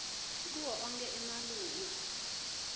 kuwo onkhe emalunga